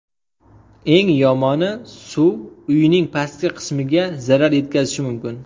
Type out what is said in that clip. Eng yomoni suv uyning pastki qismiga zarar yetkazishi mumkin.